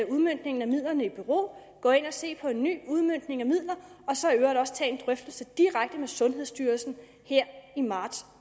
udmøntningen af midlerne i bero at gå ind og se på en ny udmøntning af midler og så i øvrigt også tage en drøftelse direkte med sundhedsstyrelsen her i marts